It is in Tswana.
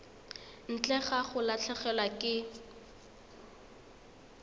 ntle ga go latlhegelwa ke